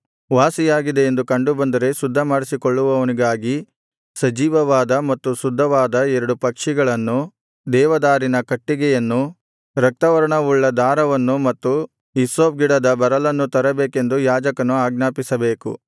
ವಾಸಿಯಾಗಿದೆ ಎಂದು ಕಂಡು ಬಂದರೆ ಶುದ್ಧ ಮಾಡಿಸಿಕೊಳ್ಳುವವನಿಗಾಗಿ ಸಜೀವವಾದ ಮತ್ತು ಶುದ್ಧವಾದ ಎರಡು ಪಕ್ಷಿಗಳನ್ನು ದೇವದಾರಿನ ಕಟ್ಟಿಗೆಯನ್ನು ರಕ್ತವರ್ಣವುಳ್ಳ ದಾರವನ್ನು ಮತ್ತು ಹಿಸ್ಸೋಪ್ ಗಿಡದ ಬರಲನ್ನು ತರಬೇಕೆಂದು ಯಾಜಕನು ಆಜ್ಞಾಪಿಸಬೇಕು